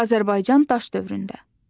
Azərbaycan daş dövründə.